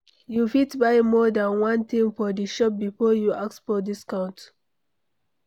You fit buy more than one thing for di shop before you ask for discount